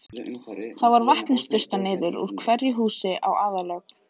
Þar var vatni sturtað niður úr hverju húsi í aðallögn.